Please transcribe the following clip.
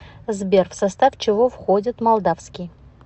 сбер в состав чего входит молдавский